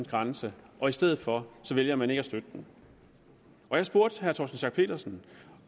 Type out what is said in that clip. grænse og i stedet for vælger man ikke at støtte den og jeg spurgte herre torsten schack pedersen